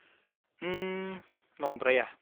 उम, नंद्राया।